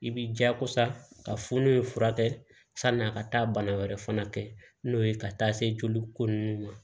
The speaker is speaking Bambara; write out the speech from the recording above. I bi jakosa ka funu furakɛ san'a ka taa bana wɛrɛ fana kɛ n'o ye ka taa se joli ko nunnu ma